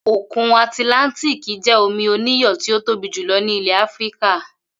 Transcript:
Òkun Àtìláńtíìkì jé̩ omi oníyò̩ tí ó tóbi jùlo̩ ní ilè̩ Áfíríkà